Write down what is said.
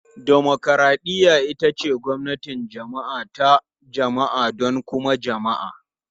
Dimokuraɗiyya ita ce gwamnatin jama'a ta jama'a don kuma jama'a.